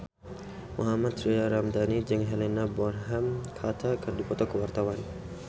Mohammad Tria Ramadhani jeung Helena Bonham Carter keur dipoto ku wartawan